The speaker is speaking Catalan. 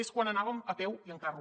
és quan anàvem a peu i en carro